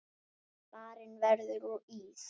Barinn verður úr ís.